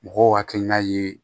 Mɔgɔw hakilina ye